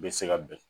Bɛ se ka bɛn